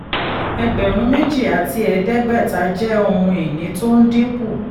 ẹgbẹ̀rún méjì àti ẹ̀ẹ́dẹ́gbẹ̀ta jẹ́ ohun ìní tó ń dínkù.